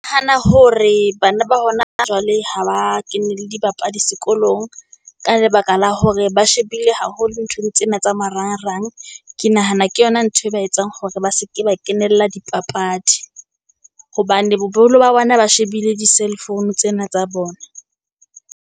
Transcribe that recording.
Hana hore bana ba hona jwale ha ba kene le dibapadi sekolong, ka lebaka la hore ba shebile haholo nthong tsena tsa marangrang. Ke nahana ke yona ntho e ba etsang hore ba seke ba kenella dipapadi, hobane ba bona ba shebile di-cellphone tsena tsa bona.